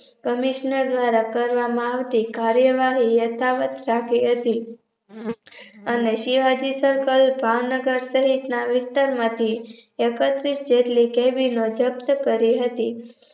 Commissioner દ્વારા કરવામાં આવતી કાર્યવાહી યથાવત કરતી હતી એની શિવાજી Circle ભાવનગર સહિતના વિસ્તારમાંથી એકત્રીશ જેટલી cabin જપ્ત કરી હતી